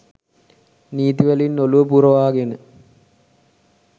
නීති වලින් ඔලුව පුරවාගෙන